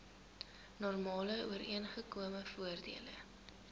normale ooreengekome voordele